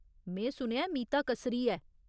में सुनेआ ऐ मीता कसरी ऐ।